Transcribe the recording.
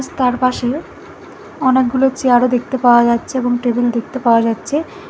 তার পাশে অনেকগুলো চেয়ার -ও দেখতে পাওয়া যাচ্ছে এবং টেবিল দেখতে পাওয়া যাচ্চে।